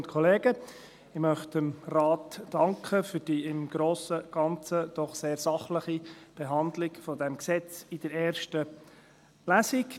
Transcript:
Ich möchte dem Rat für die im Grossen und Ganzen doch sehr sachliche Behandlung dieses Gesetzes in der ersten Lesung danken.